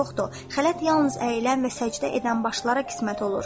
Xələt yalnız əyilən və səcdə edən başlara qismət olur.